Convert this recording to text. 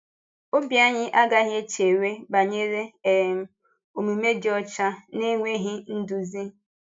Ọ̀bì anyị agaghị echewe banyere um omume dị ọcha n’enweghị nduzi.